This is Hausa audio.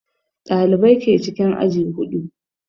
Ɗalibai ke cikin aji huɗu